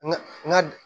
Ŋa n ka